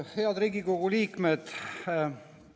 Head Riigikogu liikmed!